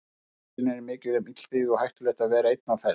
Hér á nesinu er mikið um illþýði og hættulegt að vera einn á ferð.